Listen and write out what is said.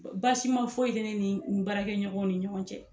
Basima fɔ ye te ne ni n baarakɛ ɲɔgɔn ni ɲɔgɔn cɛ